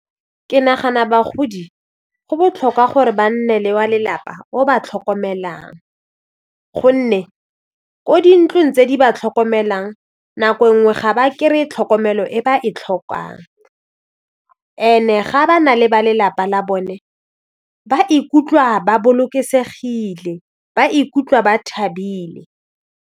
Ke nagana bagodi go botlhokwa gore ba nne le wa lelapa o ba tlhokomelang gonne ko dintlong tse di ba tlhokomelang nako nngwe ga ba kry-e tlhokomelo e ba e tlhokang and-e ga ba na le ba lelapa la bone ba ikutlwa ba bolokesegile ba ikutlwa ba thabile.